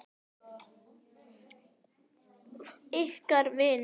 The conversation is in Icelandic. Ykkar vinir.